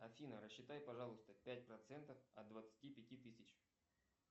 афина рассчитай пожалуйста пять процентов от двадцати пяти тысяч